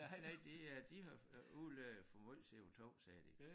Nej nej de øh de har øh udledte for meget CO2 sagde de